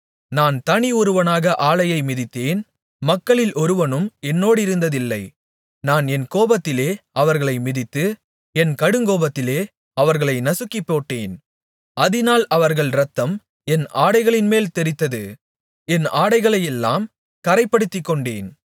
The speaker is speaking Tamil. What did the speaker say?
நான் தனி ஒருவனாக ஆலையை மிதித்தேன் மக்களில் ஒருவனும் என்னோடிருந்ததில்லை நான் என் கோபத்திலே அவர்களை மிதித்து என் கடுங்கோபத்திலே அவர்களை நசுக்கிப்போட்டேன் அதினால் அவர்கள் இரத்தம் என் ஆடைகளின்மேல் தெறித்தது என் ஆடைகளையெல்லாம் கறைப்படுத்திக்கொண்டேன்